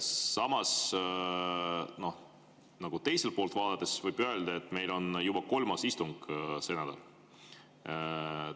Samas, teiselt poolt vaadates võib öelda, et meil on juba kolmas istung sel nädalal.